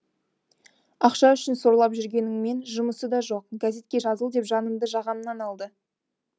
ақша үшін сорлап жүргеніңмен жұмысы да жоқ газетке жазыл деп жанымды жағамнан алды